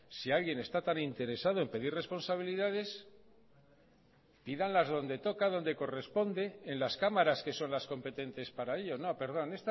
si alguien está tan interesado en pedir responsabilidades pídanlas donde toca donde corresponde en las cámaras que son las competente para ello no perdón